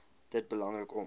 dit belangrik om